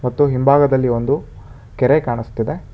ಮತ್ತು ಹಿಂಭಾಗದಲ್ಲಿ ಒಂದು ಕೆರೆ ಕಾಣಸ್ತಿದೆ.